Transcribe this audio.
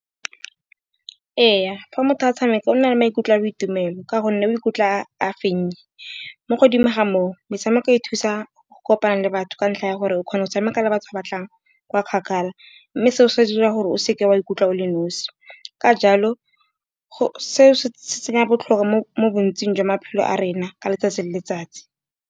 Ee, fa motho a tshameka o na le maikutlo a boitumelo, ka gonne o ikutlwa a fenye. Mo godimo ga moo metshameko e thusa go kopana le batho ka ntlha ya gore, o kgona go tshameka le batho re batlang kwa kgakala. Mme seo se dira gore o seke wa ikutlwa o le nosi, ka jalo seo se tsenya botlhokwa mo bontsing jwa maphelo a rena ka letsatsi le letsatsi.